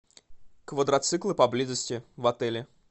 квадроциклы поблизости в отеле